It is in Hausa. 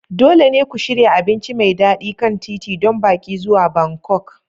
Dole ne ku shirya abinci mai daɗi kan titi don baƙi zuwa Bangkok.